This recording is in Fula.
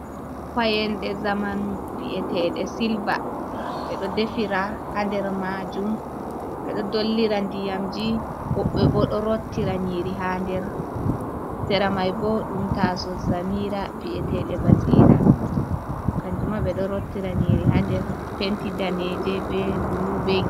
Payanɗe zamanu vi’eteeɗe silva, ɓe ɗo defira haa nder maajum, ɓe ɗo dollira ndiyamji, woɓɓe bo ɗo rottira nyiiri haa nder seramay bo ɗum taaso samiira vi’eteeɗe basiira, kanjum maa ɓe ɗo rottira nyiiri haa nder penti daneeje be bulu.